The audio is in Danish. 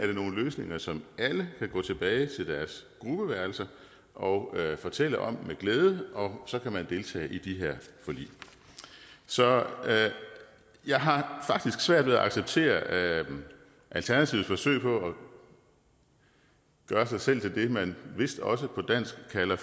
er nogle løsninger som alle kan gå tilbage til deres gruppeværelse og fortælle om med glæde og så kan man deltage i de her forlig så jeg har faktisk svært ved at acceptere alternativets forsøg på at gøre sig selv til det man vist også på dansk kalder